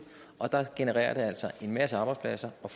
og der genererer det altså en masse arbejdspladser og